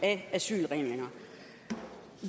af asylreglerne